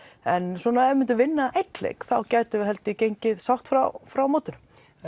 en ef við myndum vinna einn leik þá gætum við gengið sátt frá frá mótinu